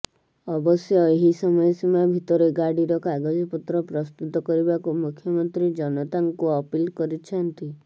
ଅବଶ୍ୟ ଏହି ସମୟ ସୀମା ଭିତରେ ଗାଡ଼ିର କାଗଜପତ୍ର ପ୍ରସ୍ତୁତ କରିବାକୁ ମୁଖ୍ୟମନ୍ତ୍ରୀ ଜନତାଙ୍କୁ ଅପିଲ କରିଛନ୍ତି